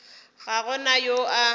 ga go na yo a